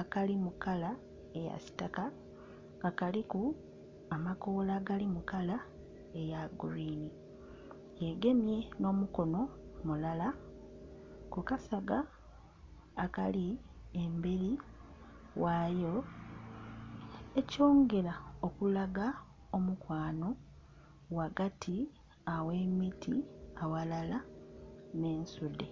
akali mu kala eya kitaaka nga kaliku amakoola agali mu kala eya gulwini yegemye n'omukono mulala kukasaga akali emberi ghaayo ekyongera okulaga omukwano ghagati aghe emiti aghalala n'ensudhe.